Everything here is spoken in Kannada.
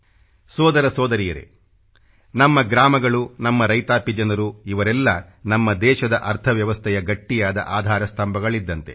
ಸೋದರ ಸೋದರಿಯರೇ ನಮ್ಮ ಗ್ರಾಮಗಳು ನಮ್ಮ ರೈತಾಪಿ ಜನರು ಇವರೆಲ್ಲ ನಮ್ಮ ದೇಶದ ಅರ್ಥವ್ಯವಸ್ಥೆಯ ಗಟ್ಟಿಯಾದ ಆಧಾರ ಸ್ಥಂಭಗಳಿದ್ದಂತೆ